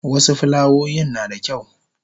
wasu fulawoyin nada kyau